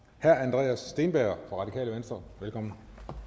herre andreas steenberg fra radikale venstre velkommen